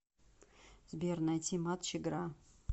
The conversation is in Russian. сбер найти матч игра